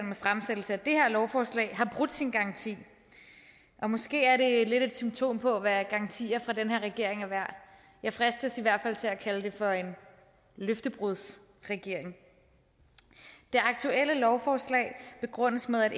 med fremsættelse af det her lovforslag har brudt sin garanti og måske er det lidt et symptom på hvad garantier fra den her regering er værd jeg fristes i hvert fald til at kalde det for en løftebrudsregering det aktuelle lovforslag begrundes med at